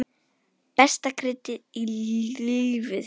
Besta kryddið í lífi þínu.